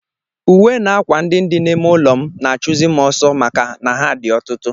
Uwe na ákwà ndị dị n'ime ụlọ m na-achụzi m ọsọ maka na ha dị ọtụtụ